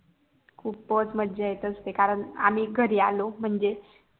खूपच मज्जा येत अस्ते कारण आम्ही घरी आलो म्हणजे